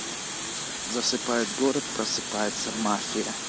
засыпает город просыпается мафия